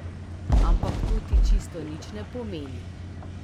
Ampak to ti čisto nič ne pomeni.